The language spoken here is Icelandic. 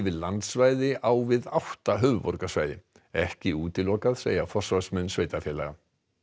landsvæði á við átta höfuðborgarsvæði ekki útilokað segja forsvarsmenn sveitarfélaga